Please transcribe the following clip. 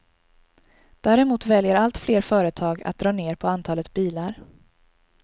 Däremot väljer allt fler företag att dra ner på antalet bilar.